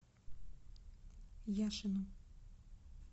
яшину